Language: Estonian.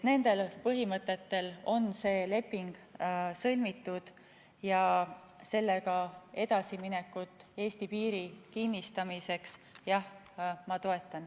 Nendel põhimõtetel on see leping sõlmitud ja sellega edasiminekut Eesti piiri kinnistamiseks, jah, ma toetan.